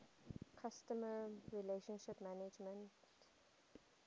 customer relationship management